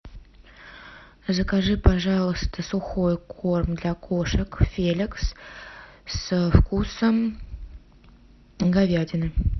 закажи пожалуйста сухой корм для кошек феликс со вкусом говядины